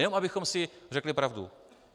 Jenom abychom si řekli pravdu.